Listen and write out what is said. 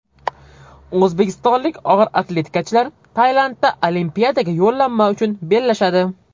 O‘zbekistonlik og‘ir atletikachilar Tailandda Olimpiadaga yo‘llanma uchun bellashadi.